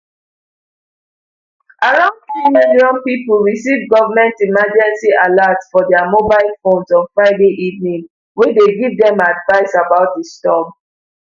around three million pipo receive goment emergency alert for dia mobile phones on friday evening wey dey give dem advice about di storm